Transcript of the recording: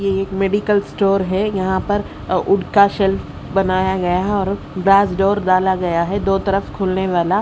ये एक medical store है यहां पर वुड का शेल्फ बनाया गया है और ग्लास डोर डाला गया है दो तरफ खुलने वाला।